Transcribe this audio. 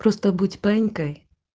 просто будь паинькой